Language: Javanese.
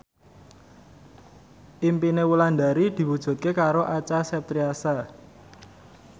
impine Wulandari diwujudke karo Acha Septriasa